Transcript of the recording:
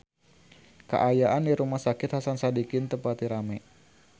Kaayaan di Rumah Sakit Hasan Sadikin teu pati rame